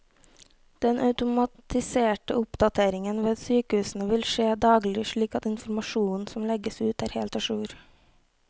Den automatiserte oppdateringen ved sykehusene vil skje daglig, slik at informasjonen som legges ut er helt a jour.